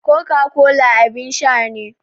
Coca-cola abin sha ne.